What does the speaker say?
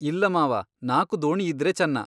ಇಲ್ಲ ಮಾವಾ ನಾಕು ದೋಣಿಯಿದ್ದರೆ ಚೆನ್ನಾ!